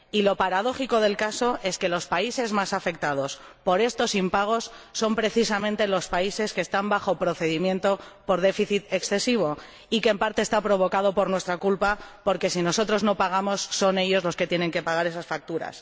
Y lo paradójico del caso es que los países más afectados por estos impagos son precisamente los países que están siendo objeto de un procedimiento de déficit excesivo, en parte provocado por nuestra culpa, porque si nosotros no pagamos, son ellos los que tienen que pagar esas facturas.